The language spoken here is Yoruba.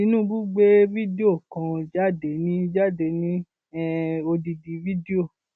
tinúbù gbé fídó kan jáde ní jáde ní um odidi fídíò